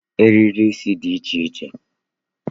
Eriri isi dị iche iche